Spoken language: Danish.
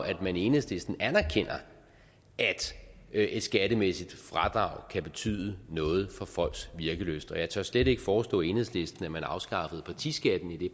at man i enhedslisten anerkender at et skattemæssigt fradrag kan betyde noget for folks virkelyst og jeg tør slet ikke foreslå enhedslisten at man afskaffer partiskatten i